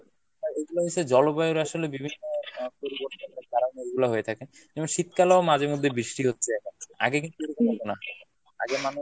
এইগুলা হইছে জলবায়ুর আসলে বিভিন্ন পরিবর্তনের কারনে এইগুলা হয়ে থাকে। যেমন শীতকালে ও মাঝে মধ্যে বৃষ্টি হচ্ছে এখন, আগে কিন্তু এরকম হতো না। আগে মানুষ